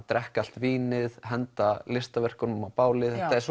drekka allt vínið henda listaverkunum á bálið þetta er